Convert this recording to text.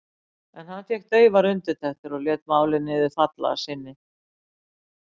En hann fékk daufar undirtektir og lét málið niður falla að sinni.